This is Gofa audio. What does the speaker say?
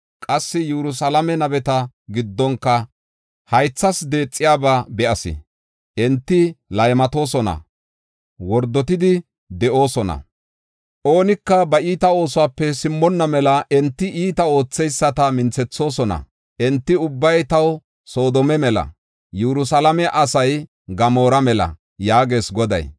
Qassi Yerusalaame nabeta giddonka haythas deexiyaba be7as. Enti laymatoosona; wordotidi de7oosona. Oonika ba iita oosuwape simmonna mela enti iitaa ootheyisata minthethoosona. Enti ubbay taw Soodoma mela; Yerusalaame asay Gamoora mela” yaagees Goday.